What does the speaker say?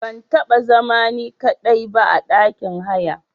Ban taba zama ni ka daiba a ɗakin haya.